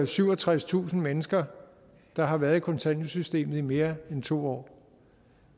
syvogtredstusind mennesker der har været i kontanthjælpssystemet i mere end to år